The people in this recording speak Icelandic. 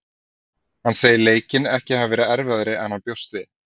Hann segir leikinn ekki hafa verið erfiðari en hann bjóst við.